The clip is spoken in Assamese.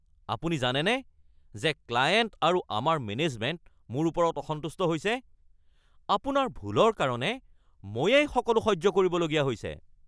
আপুনি জানেনে যে ক্লায়েণ্ট আৰু আমাৰ মেনেজমেণ্ট মোৰ ওপৰত অসন্তুষ্ট হৈছে? আপোনাৰ ভুলৰ কাৰণে ময়েই সকলো সহ্য কৰিবলগীয়া হৈছে (মেনেজাৰ)